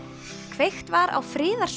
kveikt var á